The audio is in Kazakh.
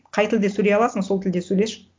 қай тілде сөйлей аласың сол тілде сөйлеші